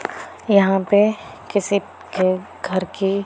यहां पे किसी के घर की--